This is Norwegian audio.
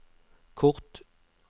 kort